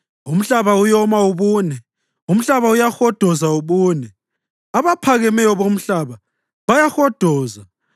Umhlaba uyoma ubune, umhlaba uyahodoza ubune, abaphakemeyo bomhlaba bayahodoza!